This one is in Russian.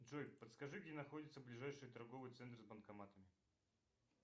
джой подскажи где находится ближайший торговый центр с банкоматами